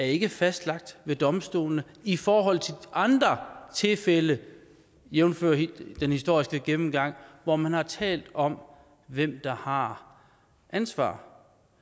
ikke er fastlagt ved domstolene i forhold til andre tilfælde jævnfør den historiske gennemgang hvor man har talt om hvem der har ansvaret